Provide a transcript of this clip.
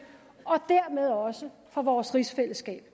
og dermed også for vores rigsfællesskab